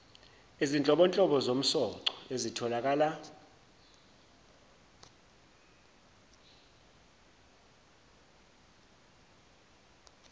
izinhlobonhlobo zomsoco ezitholakala